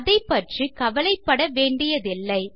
அதைப்பற்றி கவலைப்பட வேண்டியதில்லை